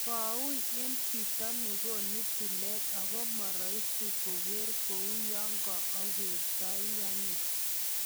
Kowui en chito nekonu tilet ako moroisi koker kou yeko okerteane."